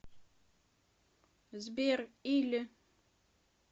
сбер или